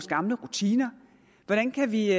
gamle rutiner hvordan kan vi